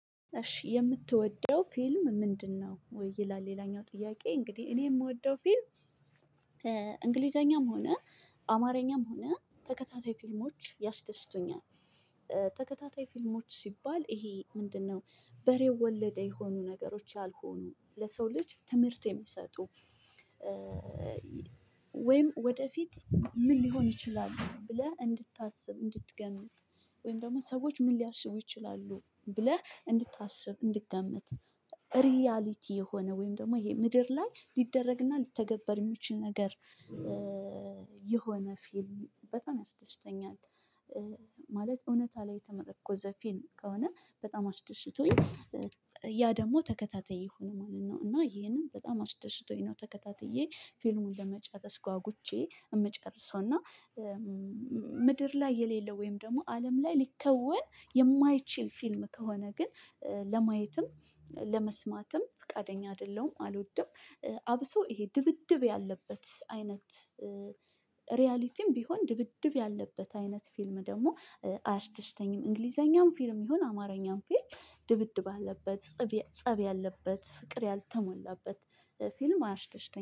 እሺ የምትወደው ፊልም ምንድነው? ይላል ሌላኛው ጥያቄ እንግዲህ እኔ እምወደው ፊልም እንግሊዘኛም ሆነ አማርኛም ሆነ ተከታታይ ፊልሞች ያስደስቱኛል። ተከታታይ ፊልሞች ሲባል ይሄ ምንድነው በሬው ወለደ የሆኑ ነገሮች ያልሆኑ ለሰው ልጅ ትምህርት ሚሰጡ ወይም ወደፊት ምን ሊሆን ይችላል ብለህ እንድታስብ እንድትገምት። ወይም ደግሞ ሰዎች ምን ሊያስቡ ይችላሉ ብለህ እንድታስብ እንድትገምት። ሪያሊቲ የሆነ ወይም ደግሞ ይሄ ምድር ላይ ሊደረግና ሊተገበር ሚችል ነገር የሆነ ፊልም በጣም ያስደስተኛል። ማለት እውነታ ላይ የተመረኮዘ ፊልም ከሆነ በጣም አስደስቶኝ ያ ደግሞ ተከታታይ ከሆነ ይሄንን በጣም አስደስቶኝ ነው። ተከታትዬ ፊልሙን ለመጨረስ ጓጉቼ የምጨርሰው እና። ምድር ላይ የሌለው ወይም ደግሞ አለም ላይ ሊከወን የማይችል ፊልም ከሆነ ግን ለማየትም ለመስማትም ፈቃደኛ አይደለሁም አልወድም። አብሶ ይሄ ድብድብ ያለበት አይነት ሪያሊቲም ቢሆን ድብድብ ያለበት አይነት ፊልም ደግሞ አያስደስተኝም። እንግሊዘኛም ፊልም ይሁን አማርኛም ፊልም ድብድብ አለበት ፀብ ያለበት ፍቅር ያልተሞላበት ፊልም አያስደስተኝም